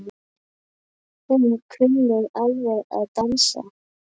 Hún kunni alveg að dansa.